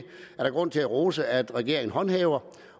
der grund til at rose at regeringen håndhæver